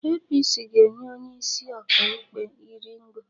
APC ga-enye onye isi ọka ikpe iri ngo